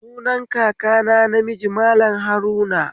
Sunan kakana namiji Mallam Haruna